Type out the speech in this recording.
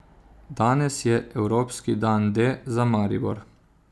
Danes je evropski dan D za Maribor.